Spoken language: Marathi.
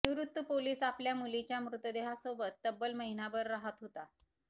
निवृत्त पोलीस आपल्या मुलीच्या मृतदेहासोबत तब्बल महिनाभर राहत होता